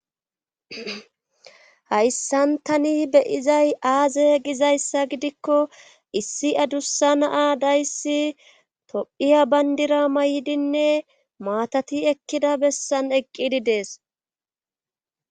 hayssan tani beyizay aaze gizayssa gidikko issi adussa na dayssi tophiya bayndira mayidinne maatati ekkida bessan eqqidi dees.